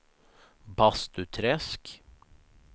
Bastuträsk